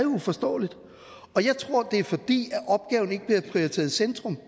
uforståeligt og jeg tror det er fordi opgaven ikke bliver prioriteret i centrum